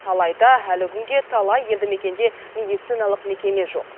алайда әлі күнге талай елді мекенде медициналық мекеме жоқ